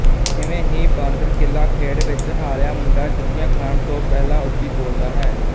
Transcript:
ਇਵੇਂ ਹੀ ਬਾਂਦਰ ਕਿੱਲਾ ਖੇਡ ਵਿੱਚ ਹਾਰਿਆ ਮੁੰਡਾ ਜੁੱਤੀਆਂ ਖਾਣ ਤੋਂ ਪਹਿਲਾਂ ਉੱਚੀ ਬੋਲਦਾ ਹੈ